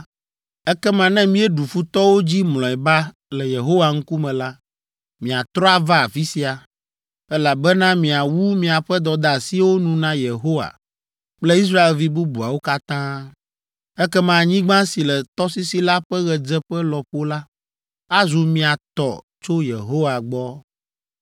ekema ne míeɖu futɔwo dzi mlɔeba le Yehowa ŋkume la, miatrɔ ava afi sia, elabena miawu miaƒe dɔdeasiwo nu na Yehowa kple Israelvi bubuawo katã. Ekema anyigba si le tɔsisi la ƒe ɣedzeƒe lɔƒo la azu mia tɔ tso Yehowa gbɔ.